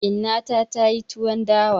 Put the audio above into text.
Inna ta ta yi tuwon dawa.